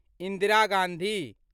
Indira Gandhi